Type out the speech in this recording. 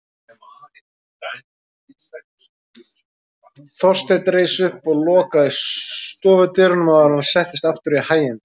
Þorsteinn reis upp og lokaði stofudyrunum áður en hann settist aftur í hæginda